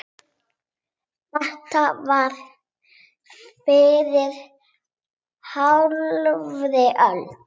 Þetta var fyrir hálfri öld.